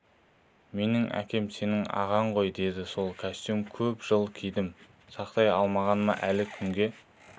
менің әкем сенің ағаң ғой деді сол кәстөмді көп жыл кидім сақтай алмағаныма әлі күнге